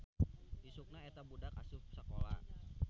Isukna eta budak asup sakola.